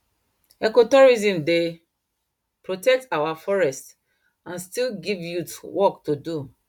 ecotourism dey protect our forest and still give youth work to do